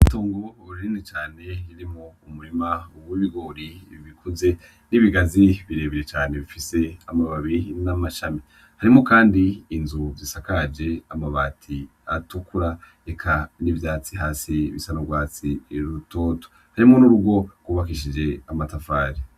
Tonga uboha rurini cane ririmo umurima uwoibigori ibikuze n'ibigazi birebire cane bifise amabbabi n'amashami harimo, kandi inzu zisakaje amabati atukura eka n'ivyatsi hasi bisarorwatsi irutoto harimo n'urugo rwubakishije amatafari.